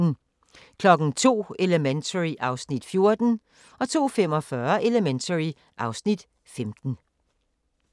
02:00: Elementary (Afs. 14) 02:45: Elementary (Afs. 15)